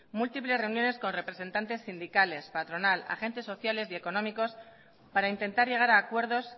múltiples reuniones con representantes sindicales patronal agentes sociales y económicos para intentar llegar a acuerdos